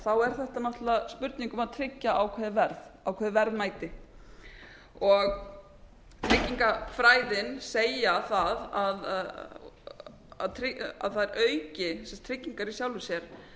þá er þetta náttúrlega spurning um að tryggja ákveðið verð ákveðið verðmæti og tryggingafræðin segja það að þær auki tryggingar í sjálfu sér